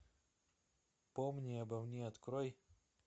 помни обо мне открой